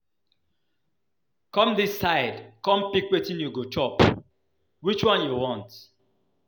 Come dis side come pick wetin you go chop, which one you want?